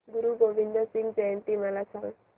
गुरु गोविंद सिंग जयंती मला सांगा